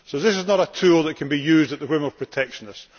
So this is not a tool which can be used on the whim of protectionists.